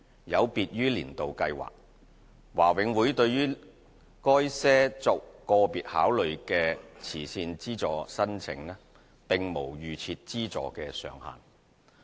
有別於"年度計劃"，華永會對於該些作個別考慮的慈善資助申請，並無預設資助上限。